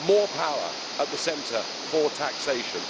more power at the centre for taxation.